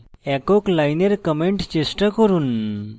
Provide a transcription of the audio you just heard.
একক লাইনের comment চেষ্টা করুন